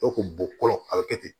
E kun bɔ fɔlɔ a bɛ kɛ ten